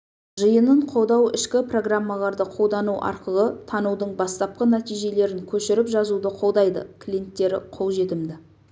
жиынын қолдау ішкі программаларды қолдану арқылы танудың бастапқы нәтижелерін көшіріп жазуды қолдайды клиенттері қол жетімді